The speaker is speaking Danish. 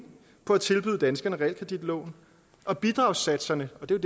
på at tilbyde danskerne realkreditlån og bidragssatserne og det er